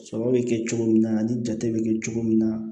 Sɔrɔ bɛ kɛ cogo min na ani jate bɛ kɛ cogo min na